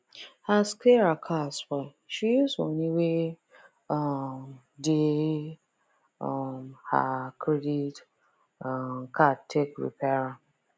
as sarah car spoil she use moni wey um dey um her credit um card take repair am